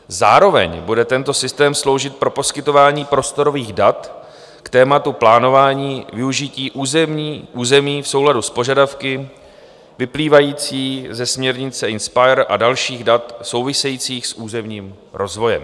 Zároveň bude tento systém sloužit pro poskytování prostorových dat k tématu plánování využití území v souladu s požadavky vyplývajícími ze směrnice INSPIRE a dalších dat souvisejících s územním rozvojem.